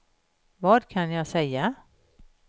vad kan jag säga